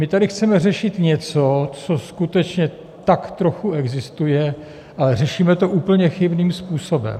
My tady chceme řešit něco, co skutečně tak trochu existuje, ale řešíme to úplně chybným způsobem.